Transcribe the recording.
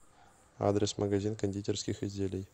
адрес магазин кондитерских изделий